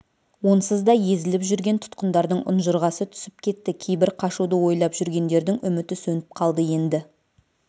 онсыз да езіліп жүрген тұтқындардың ұнжырғасы түсіп кетті кейбір қашуды ойлап жүргендердің үміті сөніп қалды енді